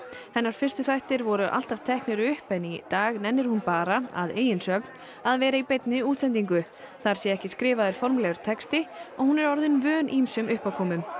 hennar fyrstu þættir voru alltaf teknir upp en í dag nennir hún bara að eigin sögn að vera í beinni útsendingu þar sé ekki skrifaður formlegur texti og hún er orðin vön ýmsum uppákomum